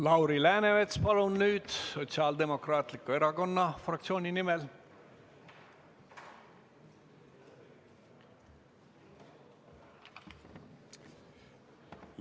Lauri Läänemets, palun, Sotsiaaldemokraatliku Erakonna fraktsiooni nimel!